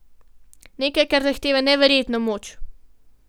Nekaj, kar zahteva neverjetno moč.